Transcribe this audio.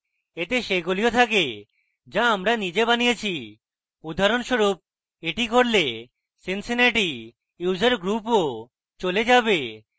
এতে সেগুলিও থাকে যা আমরা নিজে বানিয়েছি উদাহরণস্বরূপএটি করলে cincinnati user group ও চলে যাবে